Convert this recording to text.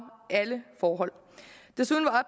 alle forhold desuden var